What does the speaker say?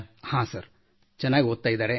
ಹಾಂ ಸರ್ ಚೆನ್ನಾಗಿ ಓದುತ್ತಿದ್ದಾರೆ